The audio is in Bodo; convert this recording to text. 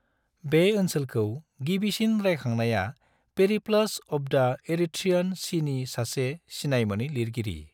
बे ओनसोलखौ गिबिसिन रायखांनाया पेरिप्लस अफ द' एरिथ्रियन सिनि सासे सिनायमोनै लिरगिगिरि।